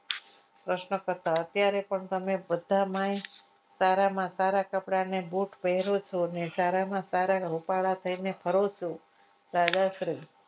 પ્રશ્નકર્તા અત્યારે તમે બધા માયા સારામાં સારા કપડાને બુટ પહેરો છો ને સારામાં સારા રૂપાળા થઈને ફરો છો દાદાશ્રી